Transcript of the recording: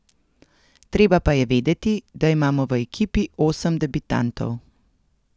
Treba pa je vedeti, da imamo v ekipi osem debitantov.